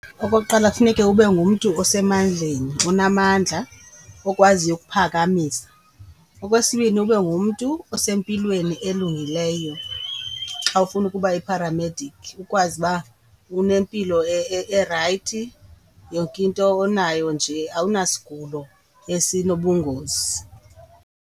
Okokuqala, funeka ube ngumntu osemandleni onamandla okwaziyo ukuphakamisa. Okwesibini, ube ngumntu osempilweni elungileyo xa ufuna ukuba yipharamediki ukwazi uba unempilo erayithi, yonke into onayo nje awuna sigulo esinobungozi.